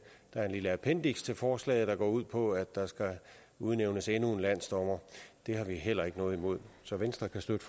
er et lille appendiks til forslaget der går ud på at der skal udnævnes endnu en landsdommer det har vi heller ikke noget imod så venstre kan støtte